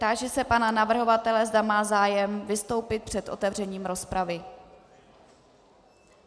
Táži se pana navrhovatele, zda má zájem vystoupit před otevřením rozpravy.